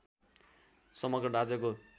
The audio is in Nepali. समग्र राज्यको